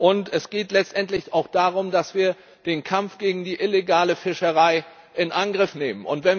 Und es geht letztendlich auch darum, dass wir den Kampf gegen die illegale Fischerei in Angriff nehmen.